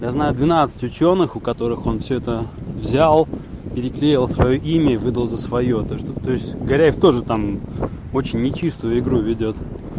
я знаю двенадцать учёных у которых он все это взял переклеил своё имя и выдал за своё так что то есть горяев тоже там очень нечистую игру ведёт